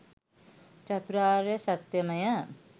චතුරාර්ය සත්‍යමය.